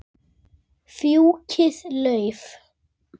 Fjúkiði lauf.